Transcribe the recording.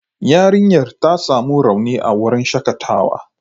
Yarinyar ta samu rauni a wurin shakatawa.